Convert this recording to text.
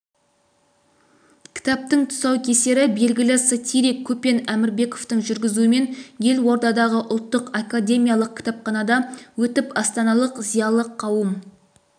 кітаптың тұсаукесері белгілі сатирик көпен әмірбектің жүргізуімен елордадағы ұлттық академиялық кітапханада өтіп астаналық зиялы қауым